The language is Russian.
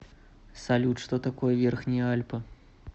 салют что такое верхние альпы